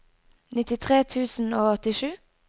nittitre tusen og åttisju